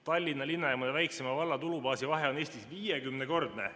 Tallinna linna ja väikseima valla tulubaasi vahe on Eestis 50‑kordne.